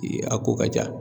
Ee a ko ka ca